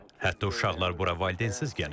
Hətta uşaqlar bura valideyinsiz gəlirlər.